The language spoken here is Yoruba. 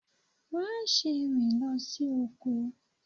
Má ṣe rìn lọ sí oko.